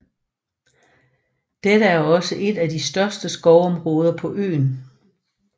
Dette er også et af de største skovområder på øen